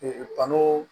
kanu